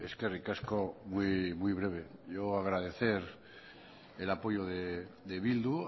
eskerrik asko muy breve yo agradecer el apoyo de bildu